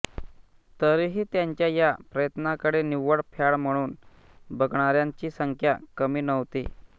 तरीही त्यांच्या या प्रयत्नाकडे निव्वळ फॅड म्हणून बघणाऱ्यांची संख्या कमी नव्हती